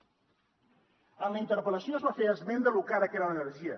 en la interpel·lació es va fer esment de lo cara era l’energia